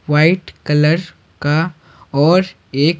white colour का और ए--